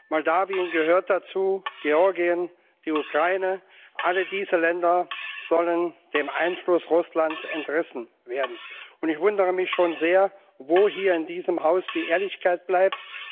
Moldau gehört dazu, Georgien und die Ukraine alle diese Länder sollen dem Einfluss Russlands entrissen werden. Ich wundere mich schon sehr, wo hier in diesem Haus die Ehrlichkeit bleibt.